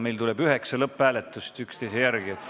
Meil tuleb üheksa lõpphääletamist üksteise järel.